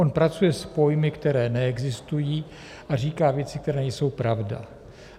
On pracuje s pojmy, které neexistují, a říká věci, které nejsou pravda.